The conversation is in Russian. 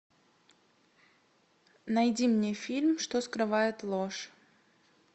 найди мне фильм что скрывает ложь